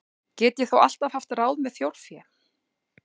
Get ég þó alltaf haft ráð með þjórfé.